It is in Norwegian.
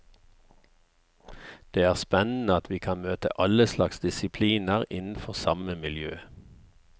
Det er spennende at vi kan møte alle slags disipliner innenfor samme miljø.